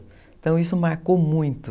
Então, isso marcou muito.